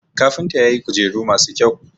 kafinta ya yi kujeru masu kyau